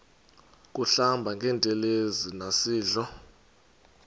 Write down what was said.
kuhlamba ngantelezi nasidlo